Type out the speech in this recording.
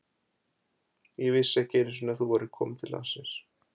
Ég vissi ekki einu sinni að þú værir komin til landsins.